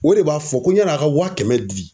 O de b'a fɔ ko yan'a ka waa kɛmɛ di.